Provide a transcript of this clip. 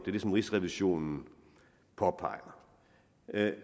er det som rigsrevisionen påpeger